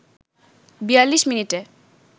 ৪২ মিনিটে